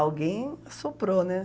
Alguém soprou, né?